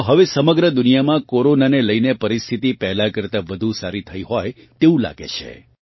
આમ તો હવે સમગ્ર દુનિયામાં કોરોનાને લઇને પરિસ્થિતિ પહેલાં કરતાં વધુ સારી થઇ હોય તેવું લાગે છે